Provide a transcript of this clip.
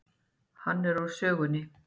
Er hann úr sögunni.